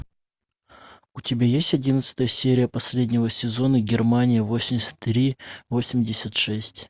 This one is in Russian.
у тебя есть одиннадцатая серия последнего сезона германия восемьдесят три восемьдесят шесть